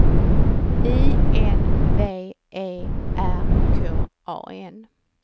I N V E R K A N